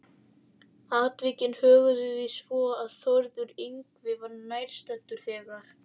Atvikin höguðu því svo, að Þórður Yngvi var nærstaddur þegar